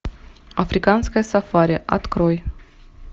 африканское сафари открой